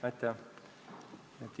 Aitäh!